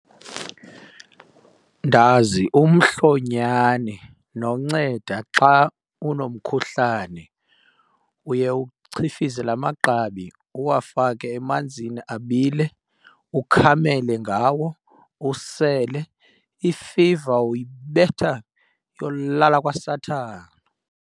Ndazi umhlonyani nonceda xa unomkhuhlane. Uye uchifize laa magqabi uwafake emanzini abile, ukhamele ngawo usele. Ifiva uyibetha iyolala kwasathana.